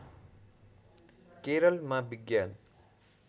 केरलमा विज्ञान